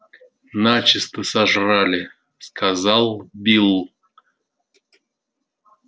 начисто сожрали сказал билл